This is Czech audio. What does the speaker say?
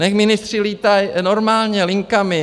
ať ministři lítají normálně linkami!